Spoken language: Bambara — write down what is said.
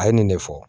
A ye nin de fɔ